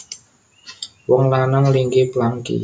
Wong lanang linggih plangki